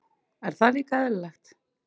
En það er líka eðlilegt.